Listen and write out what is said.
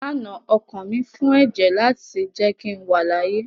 Lánàá ọkàn mi fún ẹ̀jẹ̀ láti jẹ́ kí n wà láàyè